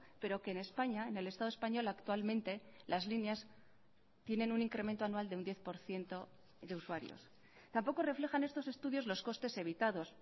pero que en españa en el estado español actualmente las líneas tienen un incremento anual de un diez por ciento de usuarios tampoco reflejan estos estudios los costes evitados